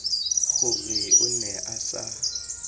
gore o ne a sa